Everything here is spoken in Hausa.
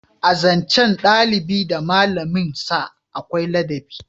A zancen dalibi da malamin sa akwai ladabi